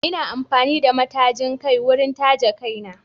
Ina amfani da matajin kai wurin taje kaina